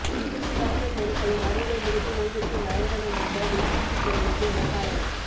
தூசு பறந்த தெருக்களும் அறுவடைமுடிந்து ஓய்வெடுக்கும் வயல்களுமாக வெறிச்சிட்டு கிடந்தது மேகாலயா